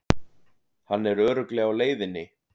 Hann er örugglega á leiðinni.